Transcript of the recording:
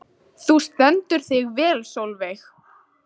Þú stendur þig vel, Solveig!